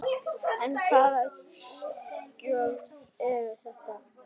En hvaða gjöld eru þetta?